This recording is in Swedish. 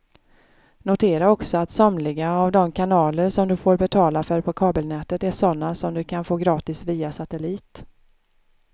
Notera också att somliga av de kanaler som du får betala för på kabelnätet är sådana som du kan få gratis via satellit.